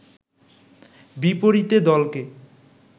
বিপরীতে দলকে